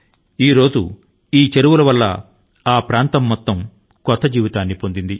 ప్రస్తుతం ఆ చెరువుల కారణం గా ఆ ప్రాంతానికి అంతటి కితా నవ జీవనం లభించింది